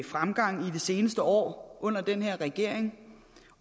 fremgang i de seneste år under den her regering